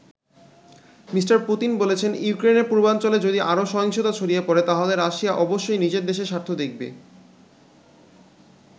Me. Putin বলেছেন ইউক্রেনের পূর্বাঞ্চলে যদি আরও সহিংসতা ছড়িয়ে পড়ে তাহলে রাশিয়া অবশ্যই নিজের দেশের স্বার্থ দেখবে।